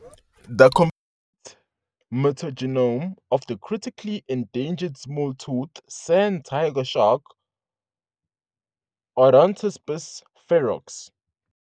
"The complete mitogenome of the Critically Endangered smalltooth sand tiger shark, Odontaspis ferox, Lamniformes- Odontaspididae".